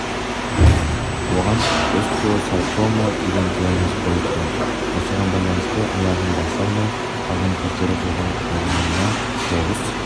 оған остеосаркома деген диагноз қойыпты осыған байланысты аяғын баса алмай қалған кездері болған жұлынына тоғыз